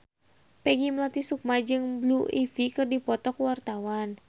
Peggy Melati Sukma jeung Blue Ivy keur dipoto ku wartawan